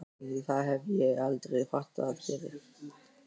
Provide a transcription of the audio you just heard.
Það hef ég aldrei fattað fyrr.